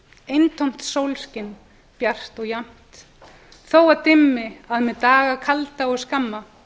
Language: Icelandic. eintómt sólskin bjart og jafnt þó að dimmi að með daga kalda og skamma